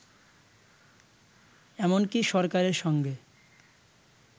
এমনকি সরকারের সঙ্গে